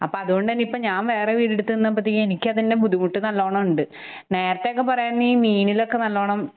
അപ്പ അതുകൊണ്ട്തന്നെ പ്പ ഞാൻ വേറെ വീടെടുത്ത് നിന്നപ്പത്തേക്കും എനിക്കതിന്റെ ബുദ്ധിമുട്ട് നല്ലോണം ഉണ്ട്. നേരത്തെയൊക്കെ പറയുകയാരുനെങ്കിൽ മീനിലൊക്കെ നല്ലോണം